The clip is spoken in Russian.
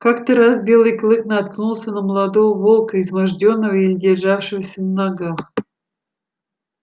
как то раз белый клык наткнулся на молодого волка измождённого и еле державшегося на ногах